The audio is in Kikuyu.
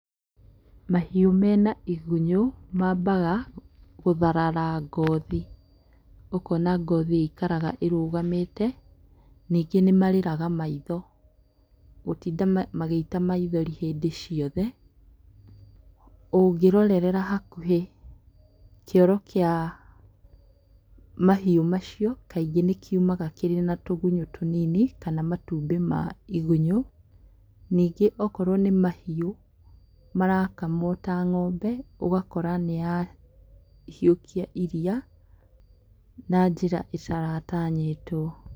Mahiũ mena igunyũ mambaga gũtharara ngothi, ũkona ngothi ĩikaraga ĩrũgamĩte. Nyingĩ nĩmarĩraga maitho, gũtinda magĩita maithori hĩndĩ ciothe. ũngĩrorerera hakuhĩ, kĩoro kĩa mahiũ macio kaingĩ nĩkiumaga kĩna tũgunyũ tũnini, kana matumbĩ ma igunyũ. Nyingĩ ũkorwo nĩ mahiũ ta ng'ombe, ũgakora nĩyahiũkia iria na njĩra ĩtaratanyĩtwo.